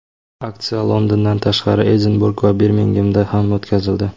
Aksiya Londondan tashqari, Edinburg va Birmingemda ham o‘tkazildi.